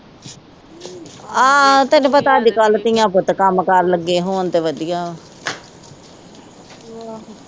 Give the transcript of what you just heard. ਆ ਤੈਨੂੰ ਪਤਾ ਅੱਜਕੱਲ੍ਹ ਦੀਆਂ, ਤਾ ਕੰਮਕਾਰ ਲੱਗੇ ਹੋਣ ਤਾ ਵਧੀਆ ਵਾ